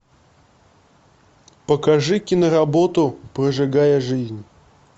покажи киноработу прожигая жизнь